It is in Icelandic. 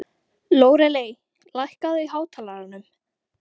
Lóreley, lækkaðu í hátalaranum.